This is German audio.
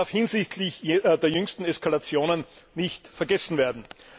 Das darf hinsichtlich der jüngsten Eskalationen nicht vergessen werden.